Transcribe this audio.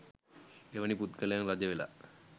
එවැනි පුද්ගලයන් රජ වෙලා